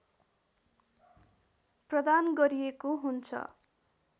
प्रदान गरिएको हुन्छ